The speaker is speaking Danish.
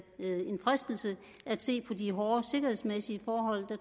fristelse at se på de hårde sikkerhedsmæssige forhold